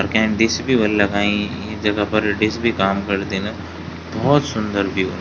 Can dish भी ह्वोली लगाई इ जगह पर डिश भी काम करदिन भौत सुन्दर व्यू ।